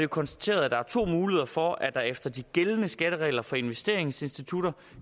konstateret at der er to muligheder for at der efter de gældende skatteregler for investeringsinstitutter